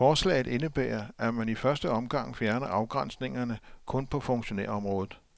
Forslaget indebærer, at man i første omgang fjerner afgrænsningerne kun på funktionærområdet.